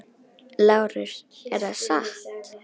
LÁRUS: Er það satt?